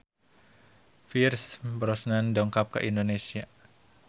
Pierce Brosnan dongkap ka Indonesia